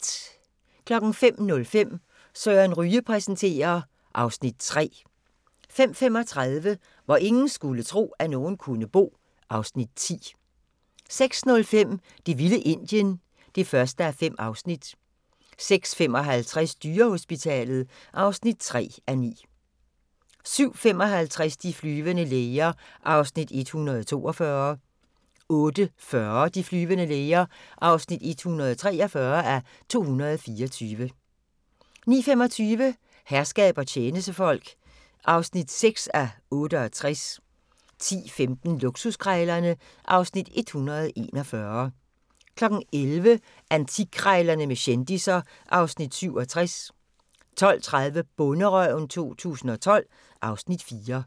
05:05: Søren Ryge præsenterer (Afs. 3) 05:35: Hvor ingen skulle tro, at nogen kunne bo (Afs. 10) 06:05: Det vilde Indien (1:5) 06:55: Dyrehospitalet (3:9) 07:55: De flyvende læger (142:224) 08:40: De flyvende læger (143:224) 09:25: Herskab og tjenestefolk (6:68) 10:15: Luksuskrejlerne (Afs. 141) 11:00: Antikkrejlerne med kendisser (Afs. 67) 12:30: Bonderøven 2012 (Afs. 4)